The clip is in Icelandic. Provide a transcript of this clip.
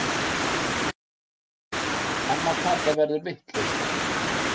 Amma Kata verður vitlaus.